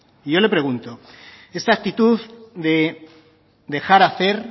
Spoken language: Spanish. y yo le pregunto esta actitud de dejar hacer